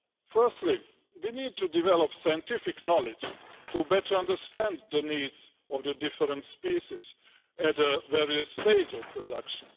Firstly, we need to develop scientific knowledge to better understand the needs of the different species at various stages of production.